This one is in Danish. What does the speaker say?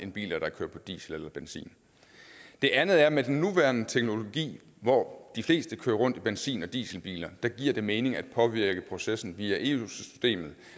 end biler der kører på diesel eller benzin det andet er at med den nuværende teknologi hvor de fleste kører rundt i benzin og dieselbiler giver det mening at påvirke processen via eu systemet